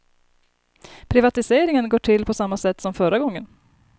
Privatiseringen går till på samma sätt som förra gången.